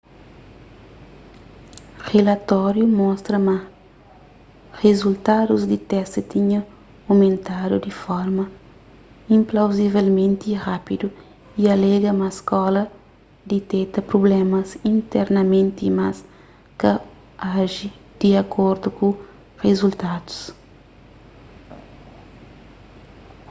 rilatóriu mostra ma rizultadus di testi tinha omentadu di forma inplauzivelmenti rápidu y alega ma skóla diteta prublémas internamenti mas ka aji di akordu ku rizultadus